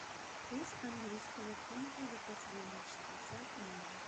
курс английского фунта за последние шестьдесят дней